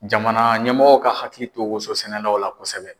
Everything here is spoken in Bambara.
Jamana ɲɛmɔgɔw ka hakili to woso sɛnɛlaw la kosɛbɛ.